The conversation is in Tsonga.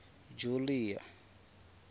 julia